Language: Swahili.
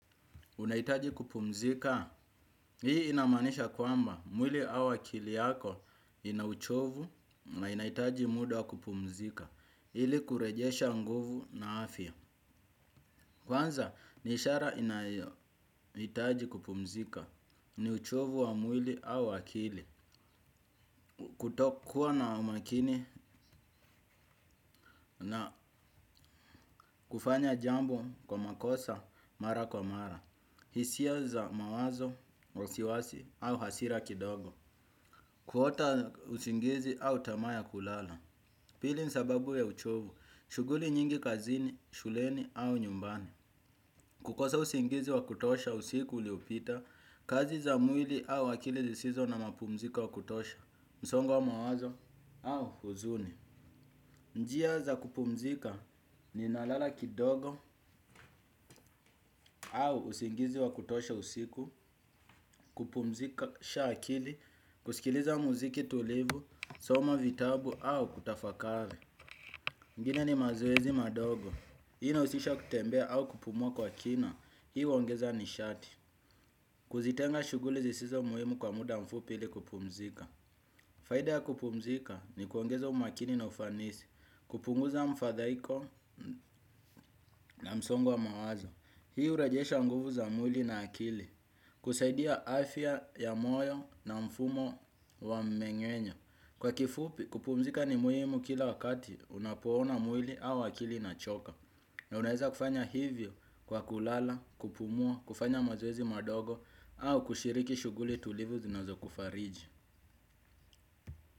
Unaitaji kupumzika. Hii inamaanisha kwamba mwili au akili yako ina uchovu na inaitaji muda kupumzika. Ili kurejesha nguvu na afya. Kwanza ni ishara inayohitaji kupumzika ni uchovu wa mwili au akili. Kutokuwa na umakini na kufanya jambo kwa makosa mara kwa mara. Hisia za mawazo, osiwasi au hasira kidogo. Kuota usingizi au tamaa ya kulala. Pili ni sababu ya uchovu. Shughuli nyingi kazini, shuleni au nyumbani. Kukosa usingizi wa kutosha usiku uliopita. Kazi za mwili au akili zisizo na mapumziko wa kutosha. Msongo wa mawazo au huzuni. Njia za kupumzika ninalala kidogo. Au usingizi wa kutosha usiku. Kupumzikasha akili. Kusikiliza muziki tulivu. Soma vitabu au kutafakale ingine ni mazoezi madogo. Hii inausisha kutembea au kupumua kwa kina. Hii uongeza nishati. Kuzitenga shughuli zisizo muhimu kwa muda mfupi ili kupumzika. Faida ya kupumzika ni kuongeza umakini na ufanisi. Kupunguza mfadhaiko na msongo wa mawazo. Hii urejesha nguvu za mwili na akili. Kusaidia afya ya moyo na mfumo wa mmengenyo. Kwa kifupi, kupumzika ni muhimu kila wakati unapoona mwili au akili inachoka. Na unaeza kufanya hivyo kwa kulala, kupumua, kufanya mazoezi madogo au kushiriki shughuli tulivu zinazokufariji.